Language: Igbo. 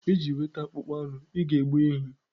Iji nweta akpụkpọ anụ, ị ga-egbu ehi